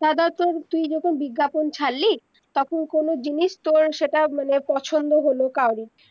তো ধর তুই যখন বিজ্ঞাপন ছাড়লি তখন কোনো জিনিস তর সেইটা মানে পছন্দ হলো কাওরে